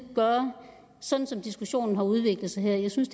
gøre sådan som diskussionen har udviklet sig her jeg synes